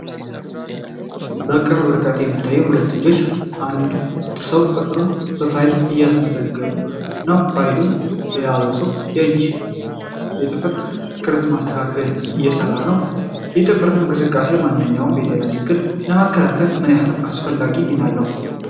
ከቅርብ ርቀት የሚታዩ ሁለት እጆች የአንድን ሰው ጥፍሮች በፋይል እያስመዘገቡ ነው። ፋይሉን የያዘው ሰው እጅ የጥፍር ቅርፅን ለማስተካከል እየሰራ ነው። የጥፍር እንክብካቤ ማናቸውንም የጤና ችግር ለመከላከል ምን ያህል አስፈላጊ ሚና አለው?